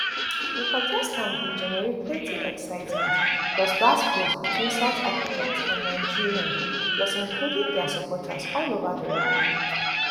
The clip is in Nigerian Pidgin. dis contest bin generate plenty excitement plus gbas gbos between south africans and nigerian plus including dia supporters all over di world